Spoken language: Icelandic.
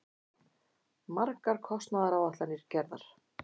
Margar kostnaðaráætlanir gerðar.